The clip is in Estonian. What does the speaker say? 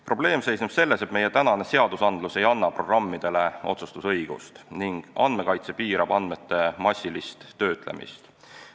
Probleem seisneb selles, et meie seadustik ei anna programmidele otsustusõigust ning andmekaitse piirab andmete massilist töötlemist.